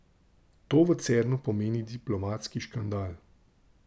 To v Cernu pomeni diplomatski škandal.